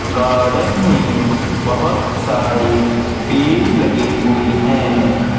Garden में बहुत सारे पेड़ लगे हुए हैं।